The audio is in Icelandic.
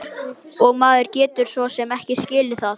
Og maður getur svo sem skilið það.